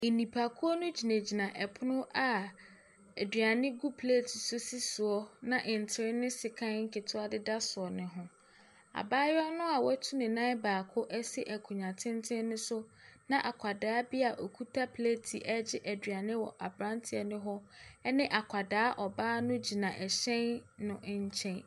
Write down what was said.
Nnipakuo no hyinagyina pono a aduane gu plate mu sisi soɔ na ntere ne sekan nketewa deda soɔ. Abaayewa watu ne nan baako asi akonnwa tenten no so na akwadaa bi a okita plate a ɛregye aduane wɔ aberante ne hɔ, ne akwadaa ɔbaa no gyinagyina nkyɛnkyɛn.